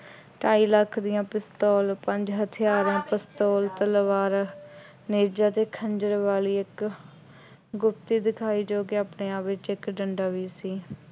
ਢਾਈ ਲੱਖ ਦੀਆਂ ਪਿਸਤੌਲ, ਪੰਜ ਹਥਿਆਰਾਂ ਪਿਸਤੌਲ, ਤਲਵਾਰਾਂ, ਨੇਜਾ ਅਤੇ ਖੰਜਰ ਵਾਲੀ ਇੱਕ ਗੁਪਤੀ ਦਿਖਾਈ ਜੋ ਕਿ ਆਪਣੇ ਆਪ ਵਿੱਚ ਇੱਕ ਡੰਡਾ ਵੀ ਸੀ।